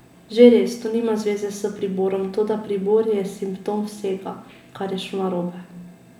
Že res, to nima zveze s priborom, toda pribor je simptom vsega, kar je šlo narobe.